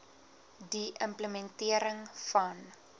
die implementering van